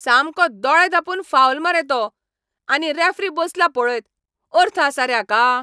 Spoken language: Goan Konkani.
सामको दोळे धांपून फावल मरे तो. आनी रॅफरी बसला पळयत! अर्थ आसा रे हाका?